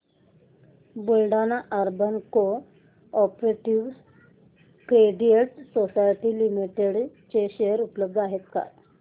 Buldhana urban cooperative credit society limited चे share उपलब्ध आहेत का